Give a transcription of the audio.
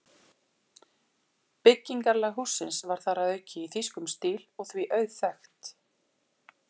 Byggingarlag hússins var þar að auki í þýskum stíl og því auðþekkt.